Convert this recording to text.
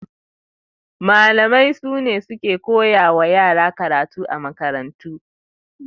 Malamai sune suke koya wa yara karatu a makarantai